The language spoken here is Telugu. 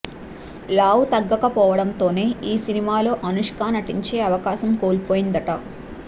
లావు తగ్గక పోవడంతోనే ఈ సినిమాలో అనుష్క నటించే అవకాశం కోల్పోయిందట